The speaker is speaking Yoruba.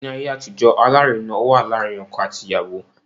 Ni aye atijo, alarina wa laarin ọkọ ati iyawo